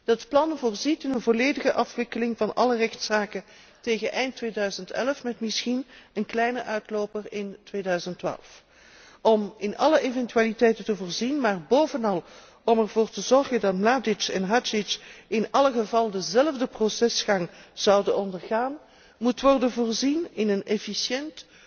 Dat plan voorziet in een volledige afwikkeling van alle rechtszaken tegen eind 2011 met misschien een kleine uitloper in 2012. Om in alle eventualiteiten te voorzien, maar bovenal om ervoor te zorgen dat Mladic en Hadzic in elk geval dezelfde procesgang zullen ondergaan, moet worden voorzien in een efficiënt,